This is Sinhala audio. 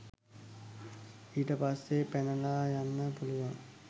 ඊට පස්සේ පැනලා යන්න පුළුවන්